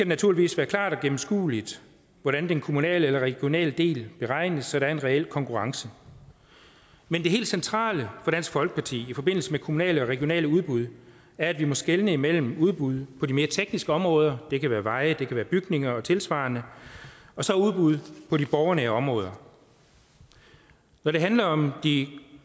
naturligvis være klart og gennemskueligt hvordan den kommunale eller regionale del beregnes så der er en reel konkurrence men det helt centrale for dansk folkeparti i forbindelse med kommunale og regionale udbud er at vi må skelne mellem udbud på de mere tekniske områder det kan være veje det kan være bygninger og tilsvarende og så udbud på de borgernære områder når det handler om de